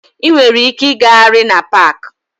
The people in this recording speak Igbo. Ị nwere ike ịgagharị na paaki.